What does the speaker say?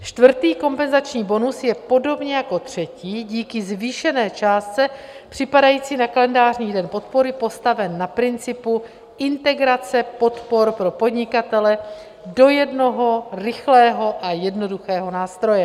Čtvrtý kompenzační bonus je podobně jako třetí díky zvýšené částce připadající na kalendářní den podpory postaven na principu integrace podpor pro podnikatele do jednoho rychlého a jednoduchého nástroje.